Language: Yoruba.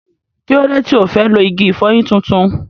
Kí ló dé tí ò fẹ́ lo igi ìfọyín tuntun?